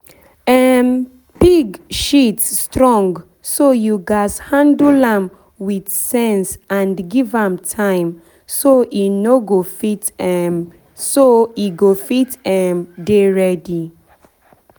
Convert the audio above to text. pig um shit strong so you gats handle am with sense and give am time so e go fit um dey ready